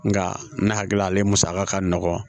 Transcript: Nka ne hakili la ale musaka ka nɔgɔn